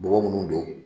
Bɔgɔ munnu don